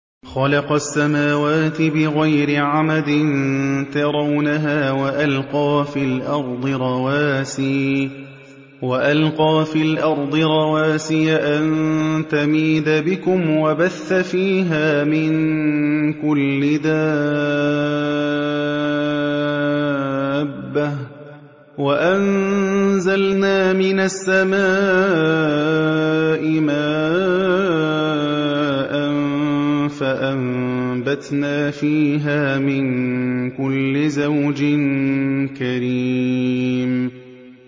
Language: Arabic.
خَلَقَ السَّمَاوَاتِ بِغَيْرِ عَمَدٍ تَرَوْنَهَا ۖ وَأَلْقَىٰ فِي الْأَرْضِ رَوَاسِيَ أَن تَمِيدَ بِكُمْ وَبَثَّ فِيهَا مِن كُلِّ دَابَّةٍ ۚ وَأَنزَلْنَا مِنَ السَّمَاءِ مَاءً فَأَنبَتْنَا فِيهَا مِن كُلِّ زَوْجٍ كَرِيمٍ